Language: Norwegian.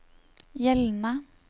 gjeldende